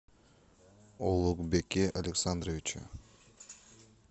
улугбеке александровиче